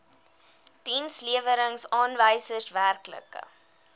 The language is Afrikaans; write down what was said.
dienslewerings aanwysers werklike